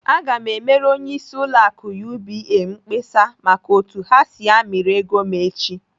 Aga m emere onyeisi ụlọ akụ UBA mkpesa maka otu ha si amịrị ego m echi!